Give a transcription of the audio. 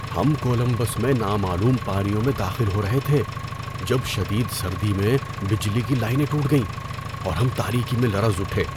ہم کولمبس میں نامعلوم پانیوں میں داخل ہو رہے تھے جب شدید سردی میں بجلی کی لائنیں ٹوٹ گئیں، اور ہم تاریکی میں لرز اٹھے۔